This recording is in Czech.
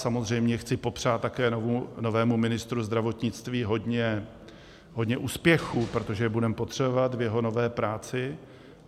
Samozřejmě chci popřát také novému ministru zdravotnictví hodně úspěchů, protože je budeme potřebovat, v jeho nové práci.